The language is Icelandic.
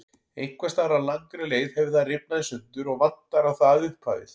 Einhvers staðar á langri leið hefur það rifnað í sundur og vantar á það upphafið.